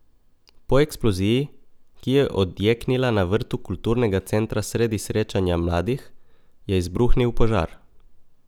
Po eksploziji, ki je odjeknila na vrtu kulturnega centra sredi srečanja mladih, je izbruhnil požar.